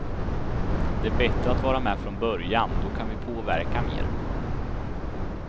Det är bättre att vara med från början, då kan vi påverka mer.